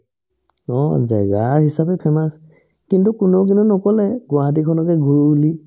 অ, জাগা হিচাপে famous কিন্তু কোনেও কিন্তু নক'লে গুৱাহাটীখনকে ঘূৰো বুলি